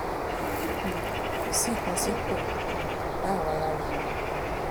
um kò sí nǹkan tí kò um bá àwa lára mu